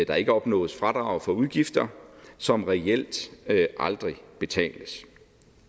der ikke opnås fradrag for udgifter som reelt aldrig betales